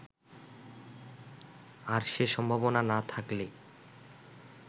আর সে সম্ভাবনা না থাকলে